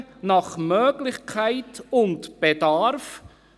] Fahrzeuge nach Möglichkeit und Bedarf